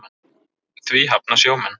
Því hafna sjómenn.